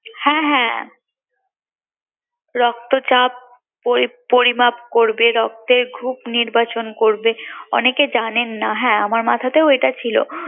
হ্যাঁ হ্যাঁ রক্তচাপ পরিমাপ করবে, রক্তের গ্রুপ নির্বাচন করবে অনেকেই জানেন না হ্যাঁ আমার মাথাতেও এটা ছিল